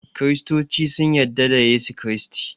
kiristoci sun yadda da Yesu kiristi